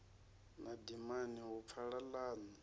na dimani hu pfala ḽaṋu